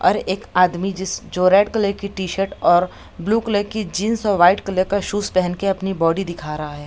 और एक आदमी जिस जो रेड कलर की टी-शर्ट और ब्लू कलर की जीन्स और व्हाइट कलर का शूज पेहेन के अपनी बॉडी दिखा रहा हैं।